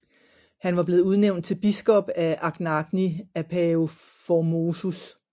Han var blevet udnævnt til biskop af Anagni af Pave Formosus